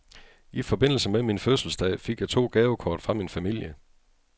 I forbindelse med min fødselsdag fik jeg to gavekort fra min familie.